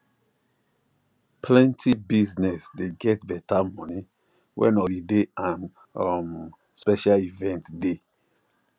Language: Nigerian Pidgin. plenty business dey get better money when holiday and um special event dey